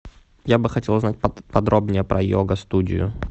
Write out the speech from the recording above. я бы хотел узнать подробнее про йога студию